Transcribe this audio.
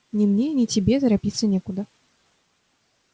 ни мне ни тебе торопиться некуда